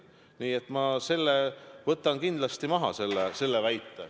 Nii et ma selle väite võtan kindlasti maha.